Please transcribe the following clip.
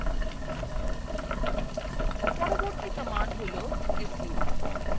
পরবর্তী command হল su